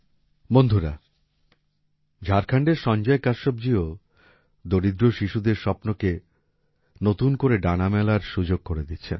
বন্ধুরা ঝাড়খণ্ডের সঞ্জয় কশ্যপজীও দরিদ্র শিশুদের স্বপ্নকে নতুন করে ডানা মেলার সুযোগ করে দিচ্ছেন